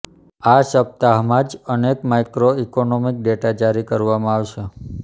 આ સપ્તાહમાં જ અનેક માઇક્રો ઇકોનોમિક ડેટા જારી કરવામાં આવશે